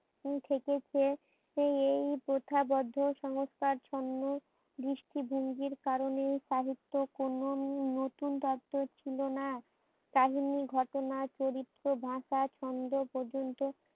থেকেছে এই প্রথা বদ্ধ সংস্কার ছন্নে দৃষ্টি ভঙ্গির কারণে সাহিত্য কোনো নতুন তত্ত্ব ছিলোনা কাহিনী ঘটনা চরিত্র বাঁচার ছন্দ পর্যন্ত